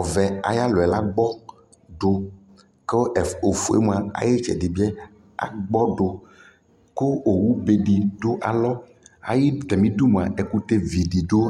ɔvɛ ayualɔyɛ lagbɔdu kʋ ofuemʋa ayʋitsɛdi agbɔdu kʋ owubedi dʋ alɔ ayi tamidumʋa ɛkʋtɛvididʋ